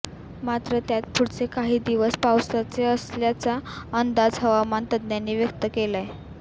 मात्र त्यात पुढचे काही दिवस पावसाचे असल्याचा अंदाज हवामान तज्ज्ञांनी व्यक्त केलाय